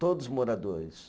Todos moradores.